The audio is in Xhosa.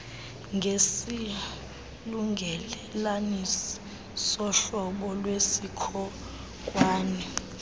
ngesilungelelanisi sohlobo lwesikhonkwane